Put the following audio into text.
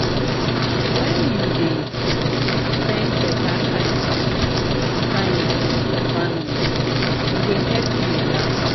wen you dey spend beta time with time with your family, e dey help you relax